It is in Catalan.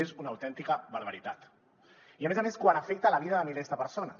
és una autèntica barbaritat i a més a més quan afecta la vida de milers de persones